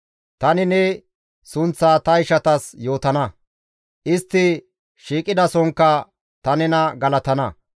Tani ne sunththa ta ishatas yootana; istti shiiqidasonkka ta nena galatana.